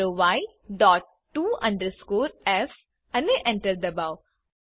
type કરો y dot to underscore f અને Enter દબાઓ